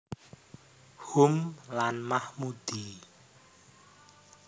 Hum lan Mahmudi